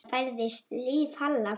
Það færðist líf í Halla.